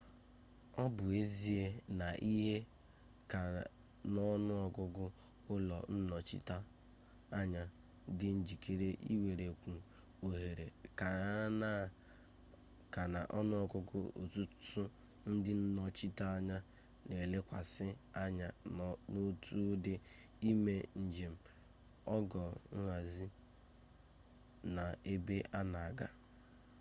obu ezie na ihe-ka-na-onuogugu ulo nnochita-anya di njikere iwerekwu ohere-ka-na-onuogugu otutu ndi nnochita-anya na elekwasi anya na otu udi ime-njem, ogo nhzi na ebe-ana-aga